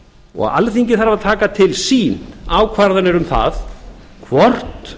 alþingi þarf að taka til sín ákvarðanir um það hvort